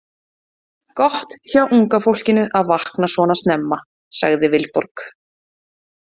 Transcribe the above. Gott hjá unga fólkinu að vakna svona snemma, sagði Vilborg.